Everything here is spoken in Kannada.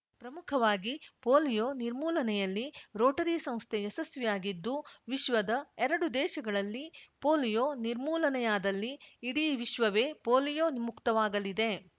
ಪ್ರಮುಖವಾಗಿ ಪೋಲಿಯೋ ನಿರ್ಮೂಲನೆಯಲ್ಲಿ ರೋಟರಿ ಸಂಸ್ಥೆ ಯಶಸ್ವಿಯಾಗಿದ್ದು ವಿಶ್ವದ ಎರಡು ದೇಶಗಳಲ್ಲಿ ಪೋಲಿಯೋ ನಿರ್ಮೂಲನೆಯಾದಲ್ಲಿ ಇಡೀ ವಿಶ್ವವೇ ಪೋಲಿಯೋ ಮುಕ್ತವಾಗಲಿದೆ